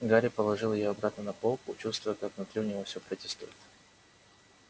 гарри положил её обратно на полку чувствуя как внутри у него всё протестует